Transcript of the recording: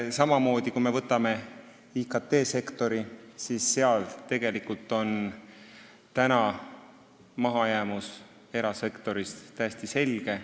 Samamoodi, IKT-sektoris on mahajäämus erasektorist täiesti selge.